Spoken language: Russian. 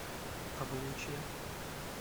облучья